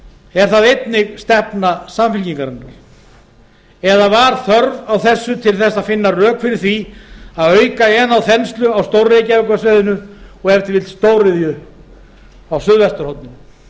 er það einnig stefna samfylkingar eða var þörf á þessu til þess að finna rök fyrir því að auka enn á þenslu á stór reykjavíkursvæðinu og stóriðju á suðvesturhorninu